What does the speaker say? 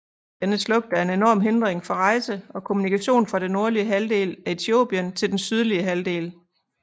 Denne slugt er en enorm hindring for rejse og kommunikation fra det nordlige halvdel af Etiopien til den sydlige halvdel